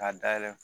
K'a dayɛlɛ